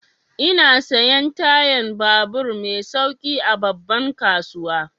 Ina siyan tayan babur mai sauƙi a babban kasuwa.